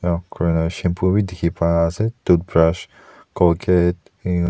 shampoo bi dikhipai ase toothbrush colgate --